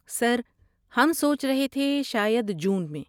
سر، ہم سوچ رہے تھے شاید جون میں؟